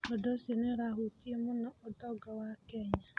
Ũndũ ũcio nĩ ũrahutia mũno ũtonga wa Kenya.